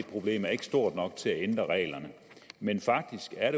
stort nok til at ændre reglerne men faktisk er